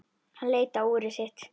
Hann leit á úrið sitt.